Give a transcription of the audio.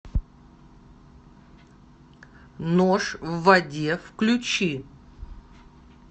нож в воде включи